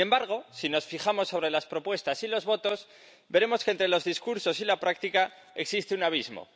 Sin embargo, si nos fijamos en las propuestas y los votos, veremos que entre los discursos y la práctica existe un abismo.